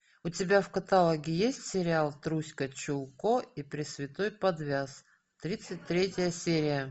у тебя в каталоге есть сериал труська чулко и пресвятой подвяз тридцать третья серия